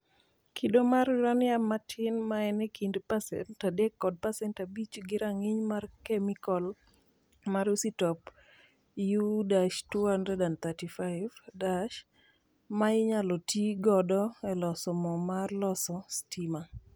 Kido mar uranium matin - maen e kind 3% kod 5% gi rang'iny mar kemikal mar isotop U-235 - ma inyalo ti godo e loso moo mar loso stima.